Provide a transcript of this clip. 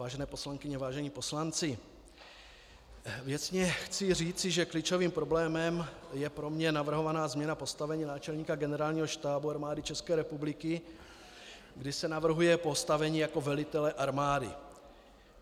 Vážené poslankyně, vážení poslanci, věcně chci říci, že klíčovým problémem je pro mě navrhovaná změna postavení náčelníka Generálního štábu Armády České republiky, kdy se navrhuje postavení jako velitele armády.